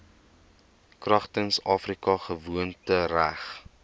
kragtens afrika gewoontereg